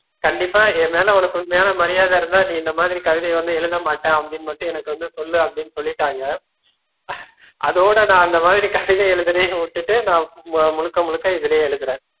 கண்டிப்பா என்மேல உனக்கு உண்மையான மரியாத இருந்தா நீ இந்த மாதிரி கவிதை வந்து எழுதமாட்டேன் அப்படின்னு மட்டும் எனக்கு வந்து சொல்லு அப்படின்னு சொல்லிட்டாங்க அதோட நா அந்த மாதிரி கவிதை எழுதுறத விட்டுட்டு நா முழுக்க, முழுக்க இதுலேயே எழுதுறேன்